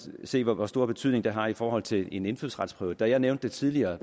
se hvor stor betydning det har i forhold til en indfødsretsprøve da jeg nævnte det tidligere